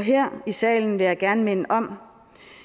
her i salen vil jeg gerne minde om